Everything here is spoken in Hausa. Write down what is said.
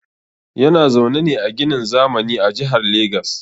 Yana zaune ne a ginin zamani a Jihar Lagos